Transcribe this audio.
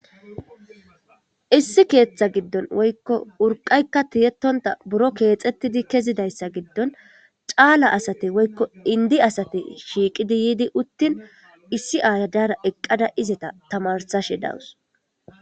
issi keeththa giddon woykko urqaykka tiyetonta buro keexettidi kezidayssa giddon caala asate woykko indi asate shiiqidi yiidi uttin issi aayadara eqqada izeta tamarsashe dawus